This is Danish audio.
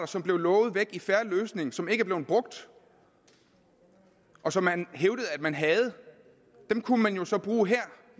som blev lovet væk i en fair løsning som ikke er blevet brugt og som man hævdede at man havde dem kunne man jo så bruge her